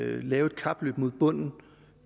lave et kapløb mod bunden